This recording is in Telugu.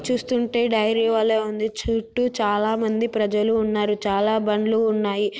చూస్తుంటే డైరీ వలే ఉంది చుట్టూ చాలా మంది ప్రజలు ఉన్నారు చాలా బండ్లు ఉన్నాయి